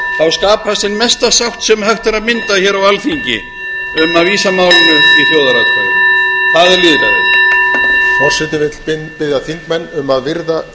skapast sú mesta sátt sem hægt er að mynda hér á alþingi um að vísa málinu í þjóðaratkvæði það er lýðræði